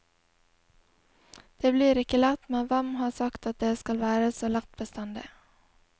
Det blir ikke lett, men hvem har sagt at det skal være så lett bestandig.